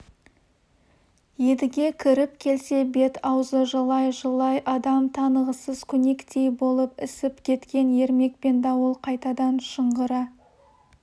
едіге кіріп келсе бет-аузы жылай-жылай адам танығысыз көнектей болып ісіп кеткен ермек пен дауыл қайтадан шыңғыра